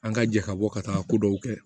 An ka jɛ ka bɔ ka taa ko dɔw kɛ